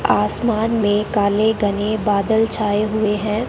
आसमान में काले घने बादल छाए हुए हैं।